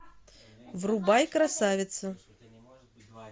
врубай красавица